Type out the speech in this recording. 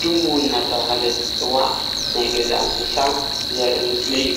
ድሙ እንዳተባሃለት እትፅዋዕ ናይ ገዛ እንስሳ ዘርእ ምስሊ እዩ፡፡